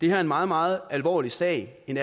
er en meget meget alvorlig sag en